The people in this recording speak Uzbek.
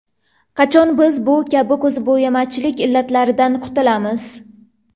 Qachon biz bu kabi ko‘zbo‘yamachilik illatlaridan qutulamiz?